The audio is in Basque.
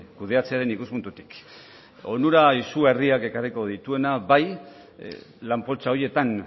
kudeatzearen ikuspuntutik onura izugarriak ekarriko dituena bai lan poltsa horietan